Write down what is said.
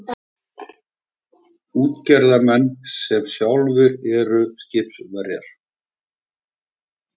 Útgerðarmenn sem sjálfir eru skipverjar.